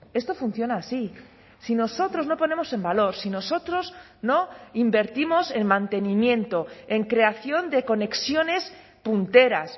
esto funciona así si nosotros no ponemos en valor si nosotros no invertimos en mantenimiento en creación de conexiones punteras